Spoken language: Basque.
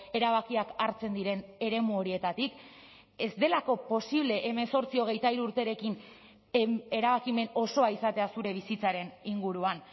erabakiak hartzen diren eremu horietatik ez delako posible hemezortzi hogeita hiru urterekin erabakimen osoa izatea zure bizitzaren inguruan